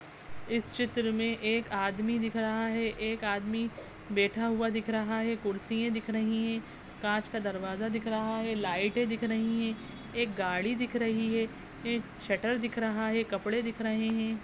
इस चित्र मे एक आदमी दिख रहा है एक आदमी बैठा हुआ दिख रहा है कुर्सियां दिख रही हैं कांच का दरवाजा दिख रहा है लाइटे दिख रही है एक गाड़ी दिख रही है एक शटर दिख रहा है कपड़े दिख रहे हैं।